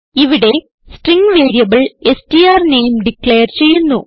ഇവിടെ string variable strname declare ചെയ്യുന്നു